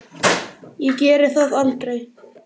Ég geri það aldrei.